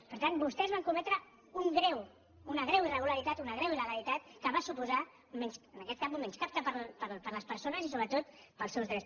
per tant vostès van cometre una greu irregularitat una greu il·legalitat que va suposar en aquest cas un menyscapte per a les persones i sobretot per als seus drets